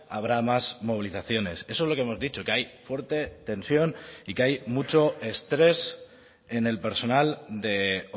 habrá más movilizaciones eso es lo que hemos dicho que hay fuerte tensión y que hay mucho estrés en el personal de